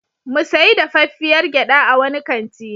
Mu sayi dafaffiyar gyaɗa a wani kanti.